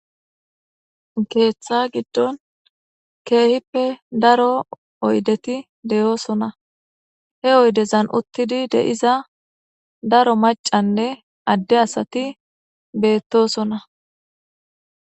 Keetha giddon keehippe daro oyddeti de'osonna. He oyddezan uttidi de'iza daro maccane adde asati beetosonna.